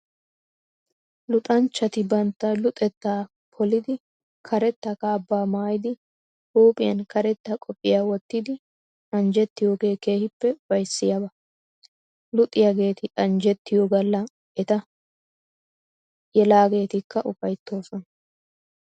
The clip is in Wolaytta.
Luxanchchati bantta luxettaa polidi karetta kaabbaa maayidi huuphphiyan karetta qophiya wottidi anjjettiyoogee keehippe ufayssiyaaba. Luxaageeti anjjettiyo galla eta yelageetikka ufayttoosona.